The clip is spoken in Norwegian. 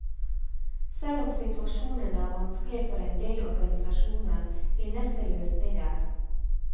Selv om situasjonen er vanskelig for endel organisasjoner, finnes det løsninger.